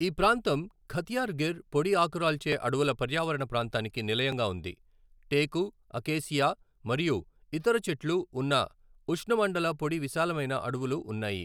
ఈ ప్రాంతం ఖతియార్ గిర్ పొడి ఆకురాల్చే అడవుల పర్యావరణ ప్రాంతానికి నిలయంగా ఉంది, టేకు, అకేసియా మరియు ఇతర చెట్లు ఉన్న ఉష్ణమండల పొడి విశాలమైన అడవులు ఉన్నాయి.